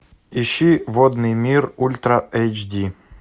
ищи водный мир ультра эйч ди